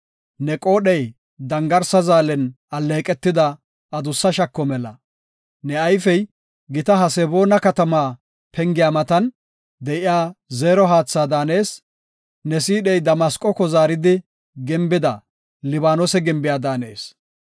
Ne qoodhey dangarsa zaalen alleeqetida adussa shako mela. Ne ayfey gita Haseboona katama pengiya matan, de7iya zeero haatha daanees. Ne siidhey Damasqoko zaaridi gimbida, Libaanose gimbiya daanees.